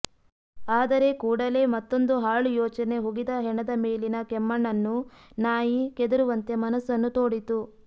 ಆದರೆ ಕೂಡಲೇ ಮತ್ತೊಂದು ಹಾಳು ಯೋಚನೆ ಹುಗಿದ ಹೆಣದ ಮೇಲಿನ ಕೆಮ್ಮಣ್ಣನ್ನು ನಾಯಿ ಕೆದರುವಂತೆ ಮನಸ್ಸನ್ನು ತೋಡಿತು